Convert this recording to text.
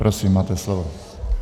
Prosím, máte slovo.